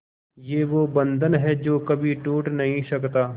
ये वो बंधन है जो कभी टूट नही सकता